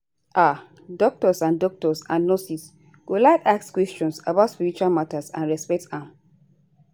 ah doctors and doctors and nurses go like ask questions about spiritual matter and respect am